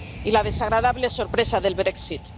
Y la desagradable sorpresa del Brexit